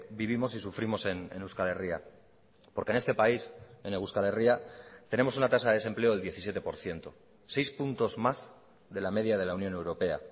vivimos y sufrimos en euskal herria porque en este país en euskal herria tenemos una tasa de desempleo del diecisiete por ciento seis puntos más de la media de la unión europea